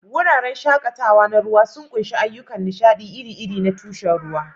Wuraren shakatawa na ruwa sun ƙunshi ayyukan nishaɗi iri-iri na tushen ruwa.